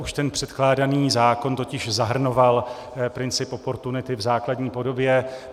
Už ten předkládaný zákon totiž zahrnoval princip oportunity v základní podobě.